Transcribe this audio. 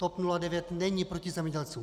TOP 09 není proti zemědělcům.